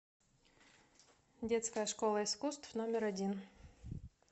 детская школа искусств номер один